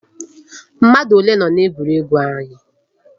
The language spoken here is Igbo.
Mmadụ ole nọ na egwuregwu anyị?